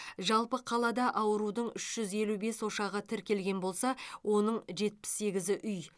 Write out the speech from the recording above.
жалпы қалада аурудың үш жүз елу бес ошағы тіркелген болса оның жетпіс сегіз үй